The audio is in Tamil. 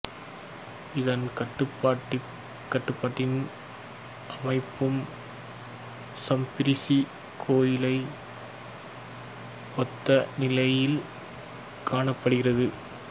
இதன் கட்டடப்பாணியும் அமைப்பும் சாம்பிசரி கோயிலை ஒத்த நிலையில் காணப்படுகிறது